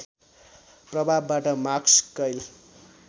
प्रभावबाट मार्कस कैल